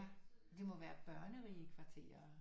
Det må være børnerige kvarterer ikke